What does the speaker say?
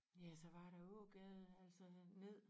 Ja så var der Ågade altså ned